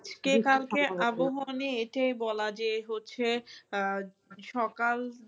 আজকে কালকে আবহাওয়া নিয়ে এটাই বলা যে হচ্ছে আহ সকাল